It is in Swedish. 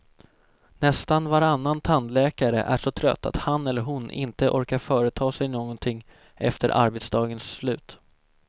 Nästan varannan tandläkare är så trött att han eller hon inte orkar företa sig någonting efter arbetsdagens slut.